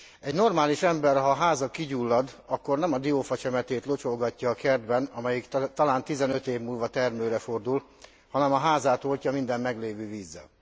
Egy normális ember, ha a háza kigyullad, akkor nem a diófacsemetét locsolgatja a kertben, amelyik talán 15 év múlva termőre fordul, hanem a házát oltja minden meglévő vízzel.